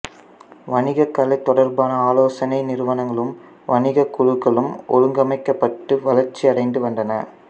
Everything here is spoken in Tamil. வணிகக் கலை தொடர்பான ஆலோசனை நிறுவனங்களும் வணிகக் குழுக்களும் ஒழுங்கமைக்கப்பட்டு வளர்ச்சியடைந்து வந்தன